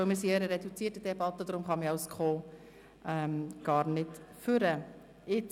Wir befinden uns nämlich in einer reduzierten Debatte, und deshalb kann man als Mitmotionär gar nicht sprechen.